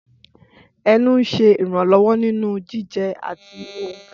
Ẹnu ń ṣe ìrànlọ́wọ́ nínú jíjẹ àti ohùn.